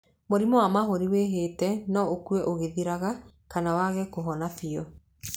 Mũrimũ wa mahũri wĩhĩte no ũke ũgĩthiraga kana wage kũhona biũ.